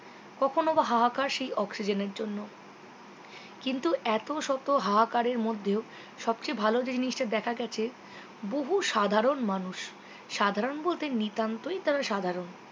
কখনও বা হাহাকার সেই oxygen এর জন্য কিন্তু এতশত হাহাকারের মধ্যেও সবচেয়ে ভালো জিনিসটা দেখা গেছে বহু সাধারণ মানুষ সাধারণ বলতে নিতান্তই তারা সাধারণ